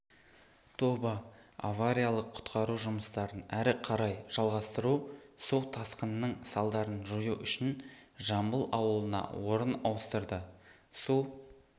тобы авариялық-құтқару жұмыстарын әрі қарай жалғастыру су тасқынының салдарын жою үшін жамбыл ауылына орын ауыстырды су